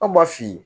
An b'a f'i ye